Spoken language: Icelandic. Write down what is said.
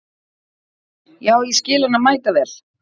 Já, ég skil hana mæta vel.